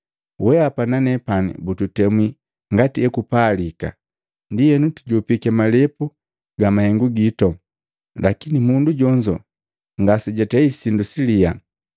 Weapa na nepani bututemwi ngati ekupalika, ndienu tujopiki malepu ga mahengu gitu, lakini mundu jonzo ngasejatei sindu siliya.”